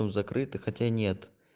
закрыты хотя нет